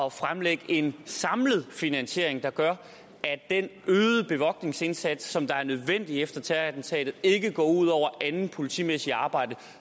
at fremlægge en samlet finansiering der gør at den øgede bevogtningsindsats som er nødvendig efter terrorattentatet ikke går ud over andet politimæssigt arbejde